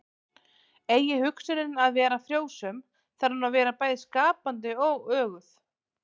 Eigi hugsunin að vera frjósöm þarf hún að vera bæði skapandi og öguð.